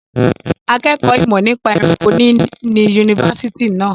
Akẹ́kọ̀ọ́ ìmọ̀ nípa ẹranko ni ní yunifásitì náà.